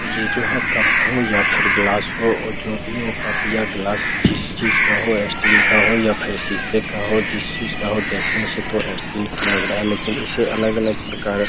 ये जो है कप हो या फिर ग्लास हो जो भी हो कप या ग्लास जिस चीज़ का हो स्टील का हो या फिर शीशे का हो जिस चीज़ का हो देखने से तो स्टील का लग रहा है लेकिन इसे अलग-अलग प्रकार --